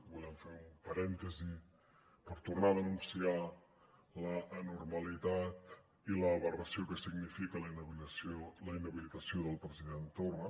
volem fer un parèntesi per tornar a denunciar l’anormalitat i l’aberració que significa la inhabilitació del president torra